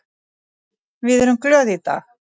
Við erum glöð í dag.